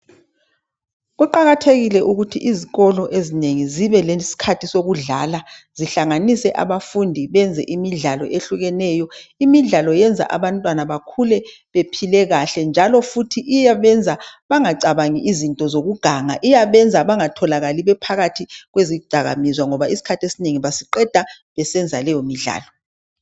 Kuqakathekile ukuthi izikolo ezinengi zibe lesikhathi sokudlala zihlanganise abafunde benze imidlalo eyehlukeneyo imidlalo yenza abantwana bakhule bephile kahle njalo futhi iyabenza bengacabangi izinto zokuganga Iyabenza bangatholakali bephakathi kwezidakwamizwa ngoba isikhathi esinengi basiqeda besenza leyo midlalo